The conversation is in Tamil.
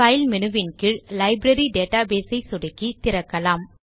பைல் மேனு வின் கீழ் லைப்ரரி டேட்டாபேஸ் ஐ சொடுக்கி திறக்கலாம்